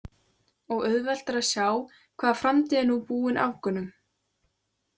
Og auðvelt er að sjá hvaða framtíð er nú búin Afgönum.